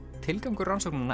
tilgangur rannsóknanna